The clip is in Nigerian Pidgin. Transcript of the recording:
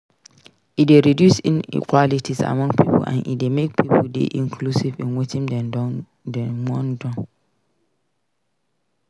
E de reduce inequalities among pipo and e de make pipo de inclusive in wetin dem won don